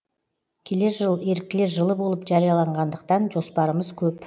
келер жыл еріктілер жылы болып жарияланғандықтан жоспарымыз көп